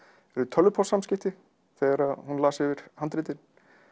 tölvupóstssamskipti þegar hún las yfir handritið